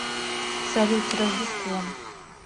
салют с рождеством